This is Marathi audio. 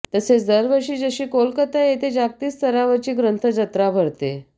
तसेच दरवर्षी जशी कोलकाता येथे जागतिक स्तरावरची ग्रंथ जत्रा भरते